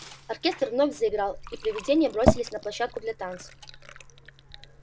оркестр вновь заиграл и привидения бросились на площадку для танцев